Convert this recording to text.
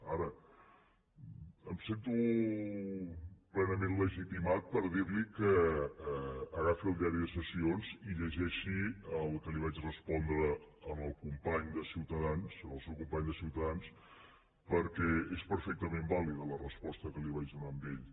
ara em sento plenament legitimat per dirli que agafi el diari de sessions i llegeixi el que vaig respondre al company de ciutadans al seu company de ciutadans perquè és perfectament vàlida la resposta que li vaig donar a ell